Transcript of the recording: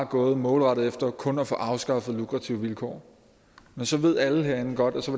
gået målrettet efter kun at få afskaffet lukrative vilkår så ved alle herinde godt at så